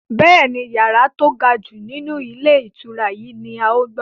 Bẹ́ẹ̀ni, yàrá to gajù nínú ilé ìtura yìí ni Áà ó gbà.